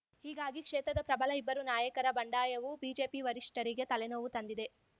ಹೀಗಾಗಿ ಕ್ಷೇತ್ರದ ಪ್ರಬಲ ಇಬ್ಬರು ನಾಯಕರ ಬಂಡಾಯವು ಬಿಜೆಪಿ ವರಿಷ್ಠರಿಗೆ ತಲೆನೋವು ತಂದಿದೆ